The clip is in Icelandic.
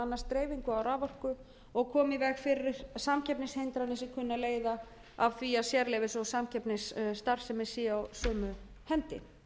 annast dreifingu á raforku og komi í veg fyrir samkeppnishindranir sem kunna að leiða af því að sérleyfis og samkeppnisstarfsemi sé á sömu hendi